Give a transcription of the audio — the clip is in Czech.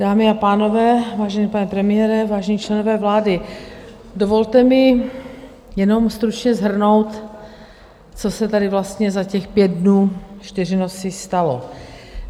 Dámy a pánové, vážený pane premiére, vážení členové vlády, dovolte mi jenom stručně shrnout, co se tady vlastně za těch pět dnů, čtyři noci stalo.